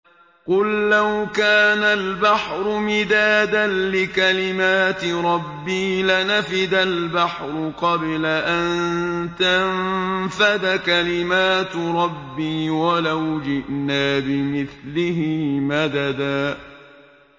قُل لَّوْ كَانَ الْبَحْرُ مِدَادًا لِّكَلِمَاتِ رَبِّي لَنَفِدَ الْبَحْرُ قَبْلَ أَن تَنفَدَ كَلِمَاتُ رَبِّي وَلَوْ جِئْنَا بِمِثْلِهِ مَدَدًا